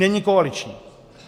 Není koaliční.